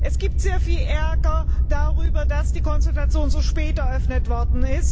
Es gibt sehr viel Ärger darüber, dass die Konsultation so spät eröffnet wurde.